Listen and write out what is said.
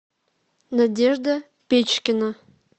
надежда печкина